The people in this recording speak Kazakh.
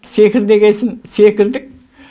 секір дегесін секірдік